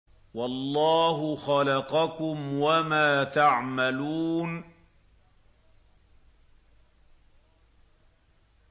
وَاللَّهُ خَلَقَكُمْ وَمَا تَعْمَلُونَ